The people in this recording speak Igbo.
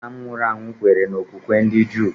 Nna m nwụrụ anwụ kweere n'okpukpe ndị Juu.